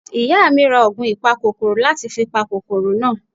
iyá mi rá oògùn ìpá kòkòrò láti fi pa kòkòrò náà.